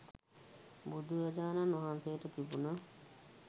බුදුරජාණන් වහන්සේට තිබුණ